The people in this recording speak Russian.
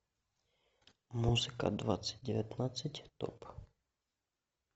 музыка двадцать девятнадцать топ